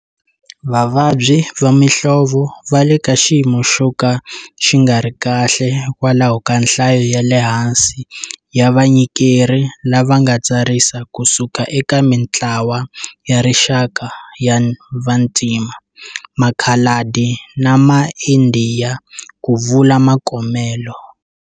Vavabyi va muhlovo va le ka xiyimo xo ka xi nga ri kahle hikwalaho ka nhlayo ya le hansi ya vanyikeri lava nga tsarisa kusuka eka mitlawa ya rixaka ya vantima, makhaladi na maIndiya, ku vula Mokomele.